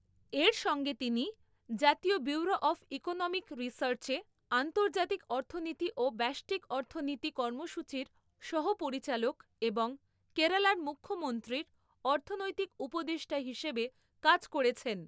এর সঙ্গে তিনি জাতীয় ব্যুরো অফ ইকোনমিক রিসার্চে আন্তর্জাতিক অর্থনীতি ও ব্যষ্টিক অর্থনীতি কর্মসূচির সহ পরিচালক এবং কেরালার মুখ্যমন্ত্রীর অর্থনৈতিক উপদেষ্টা হিসেবে কাজ করেছেন।